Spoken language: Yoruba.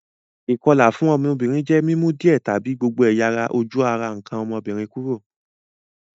Ìkolà fun ọ́mọ́bìnrin je mi mu díẹ̀ tàbi gbogbo ẹ̀yà-ojú ara nkàn ọ́mọ́bìnrin kúrò.